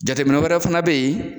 Jateminɛw wɛrɛ fana be yen